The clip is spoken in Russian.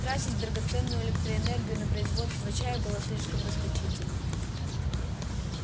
тратить драгоценную электроэнергию на производство чая было слишком расточительно